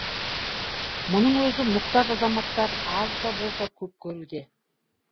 мұның өзін мұқтаж азаматтар аз да болса көп көруде